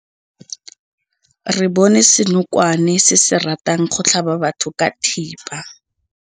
Re bone senokwane se se ratang go tlhaba batho ka thipa.